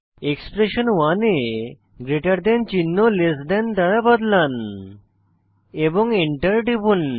expression 1 এ greater than চিহ্ন less than দ্বারা বদলান এবং Enter টিপুন